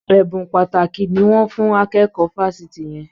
Ẹ̀bùn pàtàkì ni wọ́n fùn akẹ́kọ̀ọ́ fáfitì yẹn.